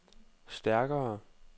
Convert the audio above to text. stærkere